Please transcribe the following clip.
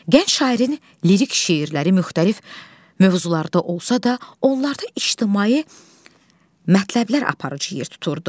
Gənc şairin lirik şeirləri müxtəlif mövzularda olsa da, onlarda ictimai mətləblər aparıcı yer tuturdu.